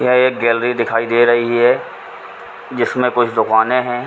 यह एक गैलरी दिखाई दे रही है। जिस में कुछ दुकाने है।